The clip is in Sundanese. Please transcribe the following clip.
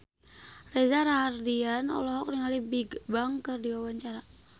Reza Rahardian olohok ningali Bigbang keur diwawancara